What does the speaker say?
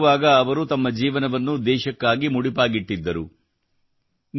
ಸೈನ್ಯದಲ್ಲಿರುವಾಗ ಅವರು ತಮ್ಮ ಜೀವನವನ್ನು ದೇಶಕ್ಕಾಗಿ ಮುಡಿಪಾಗಿಟ್ಟಿದ್ದರು